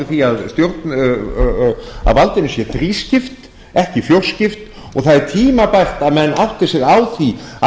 ráð fyrir því að valdinu sé þrískipt en ekki fjórskipt og það er tímabært að menn átti sig á því að